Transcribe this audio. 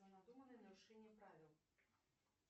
нарушение правил